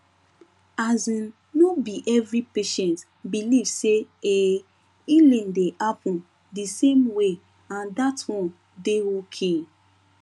asin no be every patient believe say um healing dey happen di same way and that one dey okay